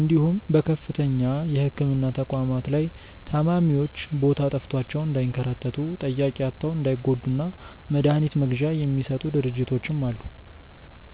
እንዲሁም በከፍተኛ የህክምና ተቋማት ላይ ታማሚዎች ቦታ ጠፍቷቸው እንዳይንከራተቱ፣ ጠያቂ አጥተው እንዳይጎዱ እና መድሀኒት መግዣ የሚሰጡ ድርጅቶችም አሉ።